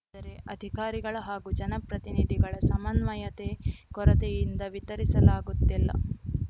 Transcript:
ದರೆ ಅಧಿಕಾರಿಗಳ ಹಾಗೂ ಜನಪ್ರತಿನಿಧಿಗಳ ಸಮನ್ವಯತೆ ಕೊರತೆಯಿಂದ ವಿತರಿಸಲಾಗುತ್ತಿಲ್ಲ